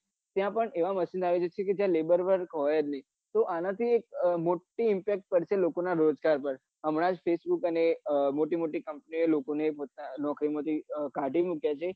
ત્યાં પન એવા machine આવી રહ્યા છે જ્યાં labour work હોયજ ની તે એના થી મોટી impact કરશે લોકો ના રોજગાર પર હમણાજ facebook અને મોટી મોટી company ઓ એ લોકો ને નોકરી માંથી કાઢી મુક્યા છે